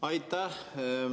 Aitäh!